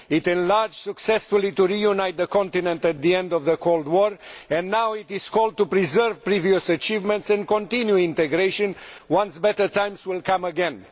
It enlarged successfully to reunite the continent at the end of the Cold War, and now it is called upon to preserve previous achievements and continue integration once better times come again.